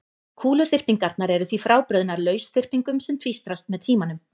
Kúluþyrpingarnar eru því frábrugðnar lausþyrpingum sem tvístrast með tímanum.